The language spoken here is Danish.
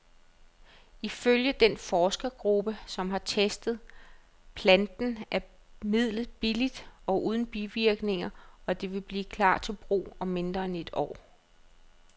Ifølge den forskergruppe, som har testet planten, er midlet billigt og uden bivirkninger, og det vil klar til brug om mindre end et år.